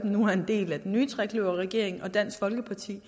nu er en del af den nye trekløverregering og dansk folkeparti